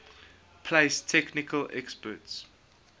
place technical experts